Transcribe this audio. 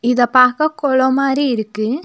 இத பாக்க கொளோ மாரி இருக்கு.